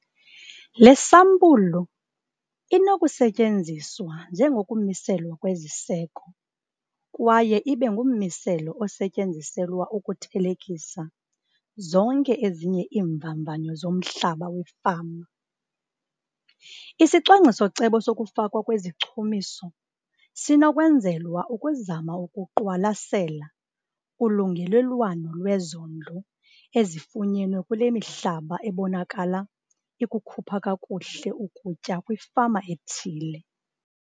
Le sampulu inokusetyenziswa njengokumiselwa kweziseko kwaye ibe ngummiselo osetyenziselwa ukuthelekisa zonke ezinye iimvavanyo zomhlaba wefama. Isicwangciso-cebo sokufakwa kwezichumiso sinokwenzelwa ukuzama ukuqwalasela ulungelelwano lwezondlo ezifunyenwe kule mihlaba ebonakala ikukhupha kakuhle ukutya kwifama ethile.